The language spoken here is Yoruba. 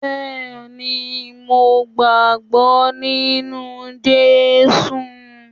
Bẹẹni mo gbàgbọ́ nínú Jésù